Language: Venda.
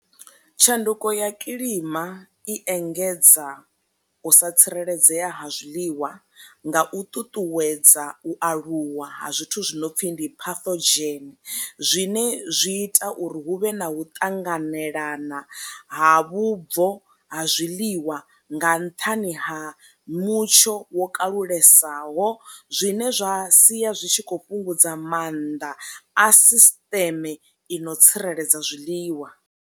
Tshanduko ya kilima i engedza u sa tsireledzea ha zwiḽiwa nga u ṱuṱuwedza u aluwa ha zwithu zwi no pfhi ndi phathodzgen, zwine zwi ita uri hu vhe na u ṱanganelana ha vhubvo ha zwiḽiwa nga nṱhani ha mutsho wo kalulesaho zwine zwa sia zwi tshi kho fhungudza maanḓa a sisiṱeme i no tsireledza zwiḽiwa.